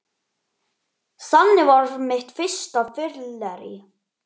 Þannig varð mitt fyrsta fyllerí